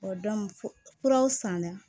kuraw san na